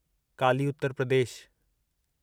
Kali Uttar Pradesh